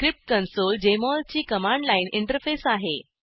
स्क्रिप्टकंसोल Jmol ची command line interface आहे